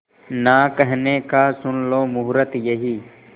ना कहने का सुन लो मुहूर्त यही